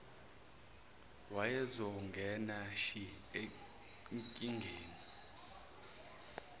wayezongena shi ezinkingeni